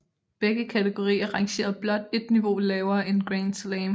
Begge kategorier rangerede blot et niveau lavere end Grand Slam